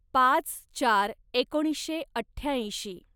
पाच चार एकोणीसशे अठ्ठ्याऐंशी